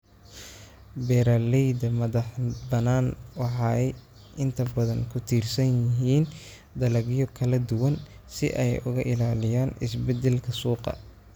Beeralayda madaxbannaan waxay inta badan ku tiirsan yihiin dalagyo kala duwan si ay uga ilaaliyaan isbeddelka suuqa.